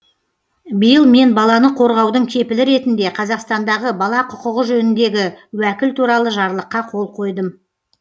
биыл мен баланы қорғаудың кепілі ретінде қазақстандағы бала құқығы жөніндегі уәкіл туралы жарлыққа қол қойдым